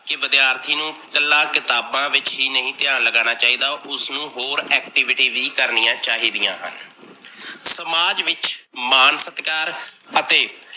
ਕੀ ਵਿਦਿਆਰਥੀ ਨੂੰ ਇਕੱਲਾ ਕਿਤਾਬ ਵਿੱਚ ਹੀ ਨਹੀਂ ਧਿਆਨ ਲੱਗਣਾ ਚਾਹੀਦਾ ਉਸਨੂ ਹੋਰ activity ਵੀ ਕਰਨੀਆ ਚਾਹੀਦੀਆਂ ਹਨ। ਸਮਾਜ ਵਿੱਚ ਮਾਨ ਸਤਿਕਾਰ ਅਤੇ